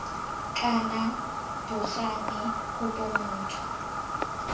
kana bo gane kopo motho